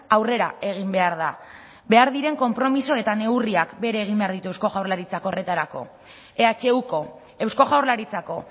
aurrera egin behar da behar diren konpromiso eta neurriak bere egin behar ditu eusko jaurlaritzak horretarako ehuko eusko jaurlaritzako